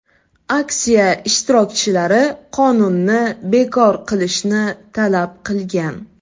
Aksiya ishtirokchilari qonunni bekor qilishni talab qilgan.